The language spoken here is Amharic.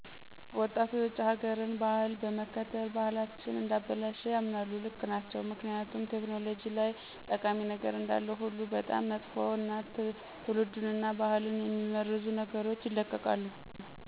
ወጣቱ የውጭ ሀገርን ባህል በመከተል ባህልቸን እንዳበላሸ ይምናሉ ልክ ናቸው ምክኒያቱም ቴክኖሎጂ ላይ ጠቃሚ ነገር እንዳለ ሁሉ በጣም መጥፍ እና ትውልዱን እና ባህልን የሚመርዙ ነገሮች ይለቀቃሉ